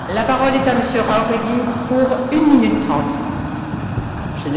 Señora Presidenta, señores miembros de la Comisión, yo creo en su trabajo